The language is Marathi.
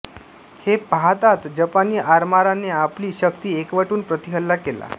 हे पाहताच जपानी आरमाराने आपली शक्ती एकवटून प्रतिहल्ला केला